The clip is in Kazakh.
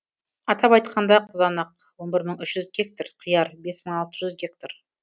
атап айтқанда қызанақ он бір мың үш жүз гектар қияр бес мың алты жүз гектар